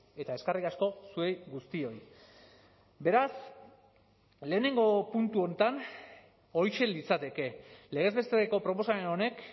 eta eskerrik asko zuei guztioi beraz lehenengo puntu honetan horixe litzateke legez besteko proposamen honek